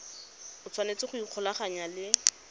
o tshwanetse go ikgolaganya le